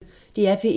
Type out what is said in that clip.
DR P1